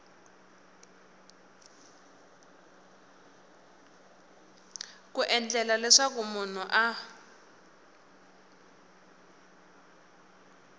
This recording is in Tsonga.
ku endlela leswaku munhu a